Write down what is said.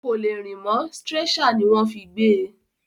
Kò lè rìn mọ́, stretcher ní wọ́n fí gbé e.